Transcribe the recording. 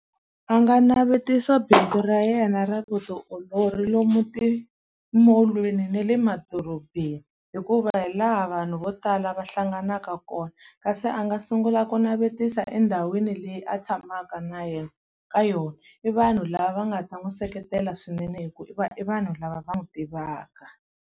A nga navetisa bindzu ra yena ra vutiolori lomu timolweni na le madorobeni, hikuva hi laha vanhu vo tala va hlanganaka kona. Kasi a nga sungula ku navetisa endhawini leyi a tshamaka na yena ka yona. I vanhu lava va nga ta n'wi seketela swinene hikuva i i vanhu lava va n'wi tivaka.